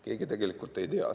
Keegi tegelikult ei tea.